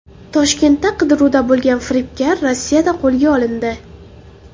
Toshkentda qidiruvda bo‘lgan firibgar Rossiyada qo‘lga olindi.